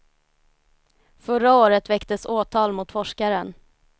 Förra året väcktes åtal mot forskaren.